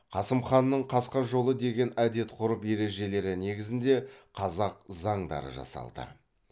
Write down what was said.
қасым ханның қасқа жолы деген әдет ғұрып ережелері негізінде қазақ заңдары жасалды